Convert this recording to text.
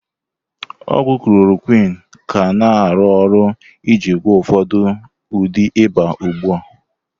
Ogwu klorokwin ka na-arụ ọrụ iji gwọọ ụfọdụ ụdị ịba ugbu a.